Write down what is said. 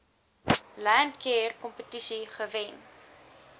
landcare kompetisie gewen